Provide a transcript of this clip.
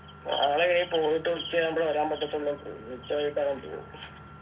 നാളെ പോയിട്ടുച്ചയാവുമ്പോഴെ വരാൻ പറ്റത്തുള്ളു ഉച്ച കഴിട്ടാ ഞാൻ പോവൂ